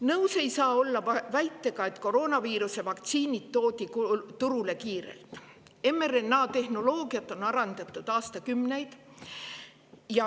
Nõus ei saa olla väitega, et koroonaviiruse vaktsiinid toodi turule kiirelt, sest mRNA-tehnoloogiat on arendatud aastakümneid.